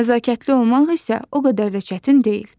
Nəzakətli olmaq isə o qədər də çətin deyil.